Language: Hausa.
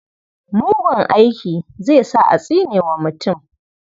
Mugun aiki zai sa a tsine wa mutum.